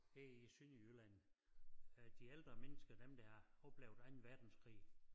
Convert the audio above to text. Her i Sønderjylland øh de ældre mennesker dem der har oplevet Anden Verdenskrig